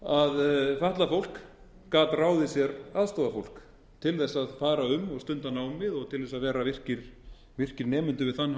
að fatlað fólk gat ráðið sér aðstoðarfólk til að fara um og stunda námið og til að vera virkir nemendur við þann háskóla síðan hefur þessi hugmyndafræði